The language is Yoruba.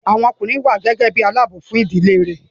Àwọn ọkùnrin wà gẹ́gẹ́ bí i aláààbò fún ìdílé rẹ̀